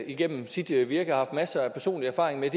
igennem sit virke har haft masser af personlig erfaring med